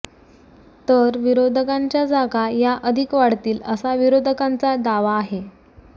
तर विरोधकांच्या जागा या अधिक वाढतील असा विरोधकांचा दावा आहे